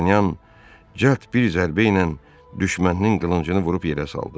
D'Artanyan cəld bir zərbə ilə düşməninin qılıncını vurub yerə saldı.